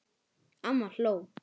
Amma hló.